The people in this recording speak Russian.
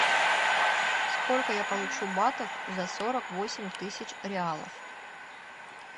сколько я получу батов за сорок восемь тысяч реалов